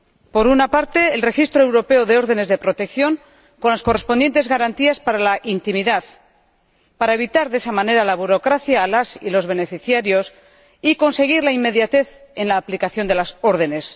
Por una parte, el registro europeo de órdenes de protección, con las correspondientes garantías para la intimidad, para evitar de esa manera la burocracia a las y los beneficiarios y conseguir la inmediatez en la aplicación de las órdenes.